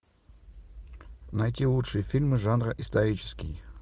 найти лучшие фильмы жанра исторический